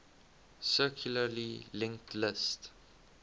circularly linked list